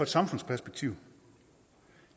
samfundsperspektiv